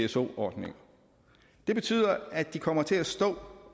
pso ordningen det betyder at de kommer til at stå